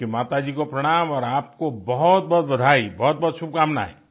आपकी माताजी को प्रणाम और आपको बहुतबहुत बधाई बहुतबहुत शुभकामनाएं